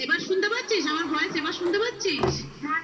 এবার শুনতে পাচ্ছিস? আমার voice এবার শুনতে পাচ্ছিস